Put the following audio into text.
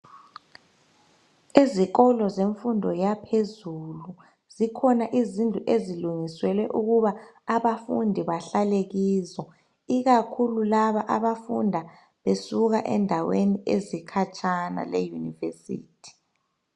Ezikolo zemfundo yaphezulu zikhona izindlu ezilungiselwe ukuba abafundi bahlale kizo, ikakhulu laba abafunda besuka endaweni ezikhatshana le university.